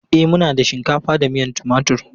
E, muna da shinkafa da miyan timatur.